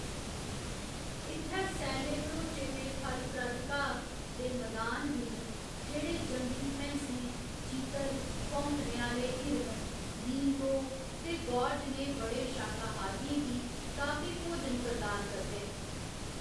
इ'त्थै सैले भरोचे दे फलप्रद घाऽ दे मैदान बी न जेह्‌‌ड़े जंगली भैंसें, चीतल, भौंकने आह्‌‌‌ले हिरन, नीलगो ते गौर जनेह् बड़े शाकाहारियें गी काफी भोजन प्रदान करदे न।